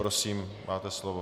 Prosím, máte slovo.